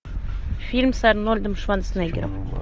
фильм с арнольдом шварценеггером